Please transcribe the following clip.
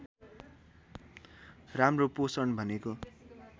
राम्रो पोषण भनेको